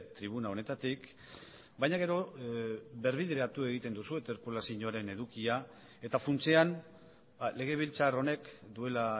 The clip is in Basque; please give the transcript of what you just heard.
tribuna honetatik baina gero birbideratu egiten duzu interpelazioaren edukia eta funtsean legebiltzar honek duela